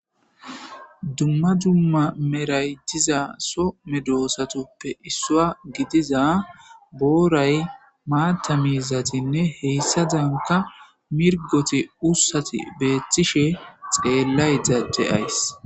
dumma dumma meray diza so medoosatoppe issua gidiza booray maata miizatinne heyssadanka mirgoti ussati beeththishe xeellayda de7ays.